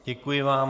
Děkuji vám.